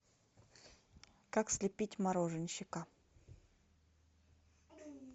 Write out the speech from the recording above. как слепить мороженщика